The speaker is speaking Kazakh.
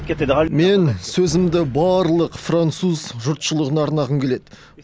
мен сөзімді барлық француз жұртшылығына арнағым келеді